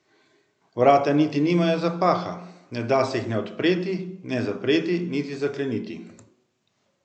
Vrata niti nimajo zapaha, ne da se jih ne odpreti ne zapreti, niti zakleniti.